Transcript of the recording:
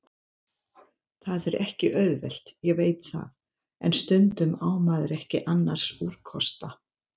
Það er ekki auðvelt, ég veit það, en stundum á maður ekki annars úrkosta.